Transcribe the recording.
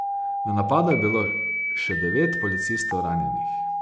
V napadu je bilo še devet policistov ranjenih.